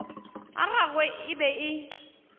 a gagwe e be e